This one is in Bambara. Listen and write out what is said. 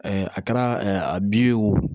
a kɛra a bin ye wo